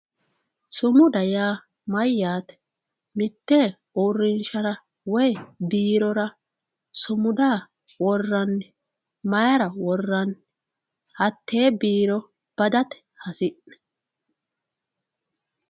Sumuda yaa mayate mitte uurinshara woyi biirora sumuda worani mayira worani hatee biiro badate hasi`ne